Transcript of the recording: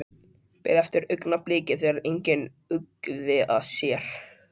Beið eftir augnabliki þegar enginn uggði að sér.